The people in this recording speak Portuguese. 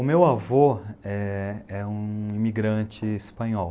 O meu avô é é um imigrante espanhol.